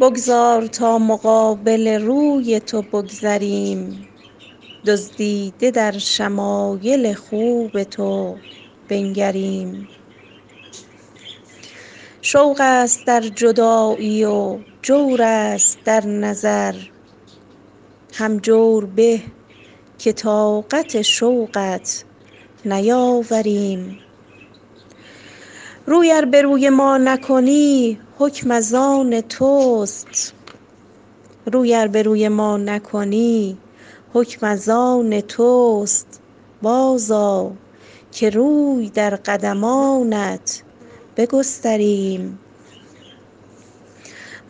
بگذار تا مقابل روی تو بگذریم دزدیده در شمایل خوب تو بنگریم شوق است در جدایی و جور است در نظر هم جور به که طاقت شوقت نیاوریم روی ار به روی ما نکنی حکم از آن توست بازآ که روی در قدمانت بگستریم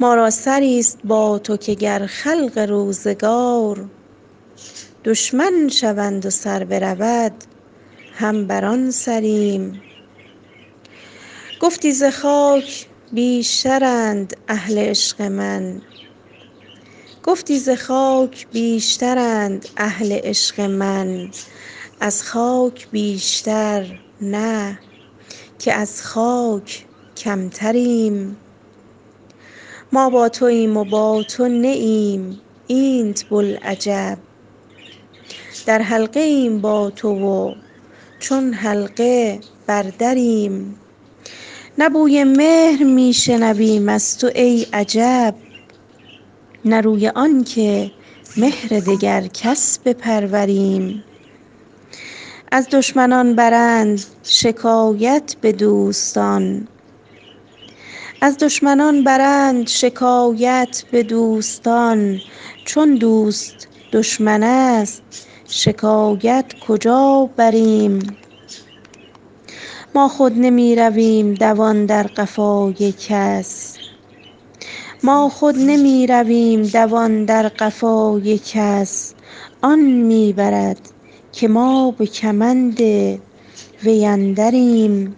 ما را سری ست با تو که گر خلق روزگار دشمن شوند و سر برود هم بر آن سریم گفتی ز خاک بیشترند اهل عشق من از خاک بیشتر نه که از خاک کمتریم ما با توایم و با تو نه ایم اینت بلعجب در حلقه ایم با تو و چون حلقه بر دریم نه بوی مهر می شنویم از تو ای عجب نه روی آن که مهر دگر کس بپروریم از دشمنان برند شکایت به دوستان چون دوست دشمن است شکایت کجا بریم ما خود نمی رویم دوان در قفای کس آن می برد که ما به کمند وی اندریم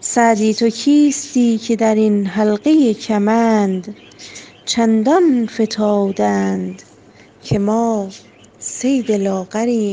سعدی تو کیستی که در این حلقه کمند چندان فتاده اند که ما صید لاغریم